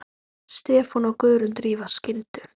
Stefán og Guðrún Drífa skildu.